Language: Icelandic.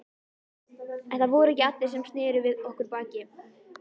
En það voru ekki allir sem sneru við okkur baki.